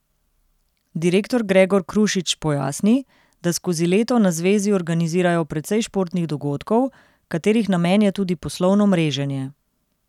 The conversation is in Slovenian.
Direktor Gregor Krušič pojasni, da skozi leto na zvezi organizirajo precej športnih dogodkov, katerih namen je tudi poslovno mreženje.